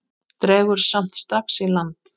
Dregur samt strax í land.